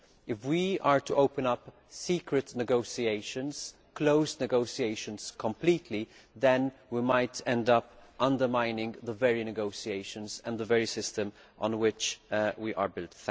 If we are to open up secret negotiations and closed negotiations completely, then we might end up undermining the very negotiations and the very system on which we are built.